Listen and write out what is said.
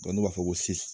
n'u b'a fɔ ko